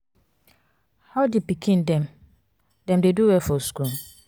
how di pikin dem? dem dey do well for school?